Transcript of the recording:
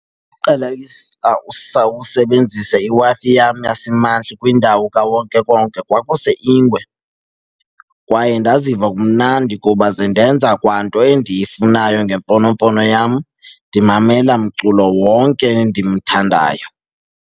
Uqala usebenzisa iWi-Fi yasimahla kwindawo kawonkewonke kwakuse Ingwe kwaye ndaziva kumnandi kuba ze ndenza kwanto endiyifunayo ngemfonomfono yam, ndimamela mculo wonke endimthandayo.